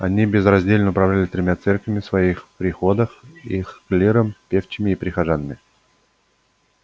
они безраздельно управляли тремя церквями в своих приходах их клиром певчими и прихожанами